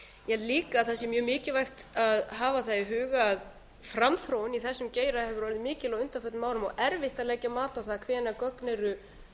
ég held líka að það sé mjög mikilvægt að hafa í huga að framþróun í þessum geira hefur orðið mikil á undanförnum árum og erfitt að leggja mat á það